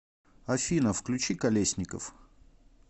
афина включи калесников